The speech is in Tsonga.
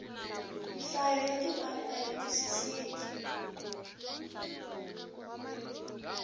nhlayo ya timali ayi twisiseki